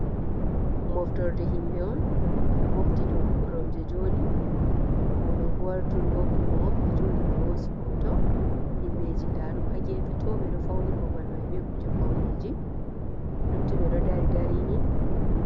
Moftorde himɓe on ɓeɗo mofti dow koromje joɗi, oɗo Bo wari turi hopni mo, ɓe joɗi ɓe hosi hoto, himɓeji nda ɗum hagefe to ɓeɗo fauni bobal mai be kuje pauneji lutti ɓe ɗo dari darini.